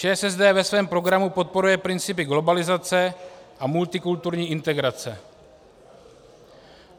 ČSSD ve svém programu podporuje principy globalizace a multikulturní integrace.